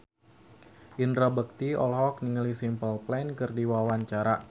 Indra Bekti olohok ningali Simple Plan keur diwawancara